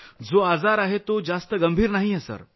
त्यांना होणार संसर्ग जास्त गंभीर नाहीये सर